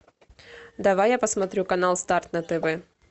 давай я посмотрю канал старт на тв